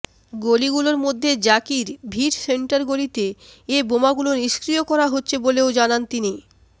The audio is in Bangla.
গলিগুলোর মধ্যে জাকির ভিট সেন্টার গলিতে এ বোমাগুলো নিষ্ক্রিয় করা হচ্ছে বলেও জানান তিনি